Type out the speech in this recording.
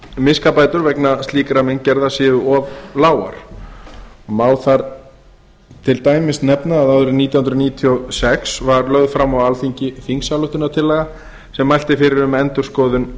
miskabætur vegna slíkra meingerða séu of lágar má þar til dæmis nefna að árið nítján hundruð níutíu og sex var lögð fram á alþingi þingsályktunartillaga sem mælti fyrir um endurskoðun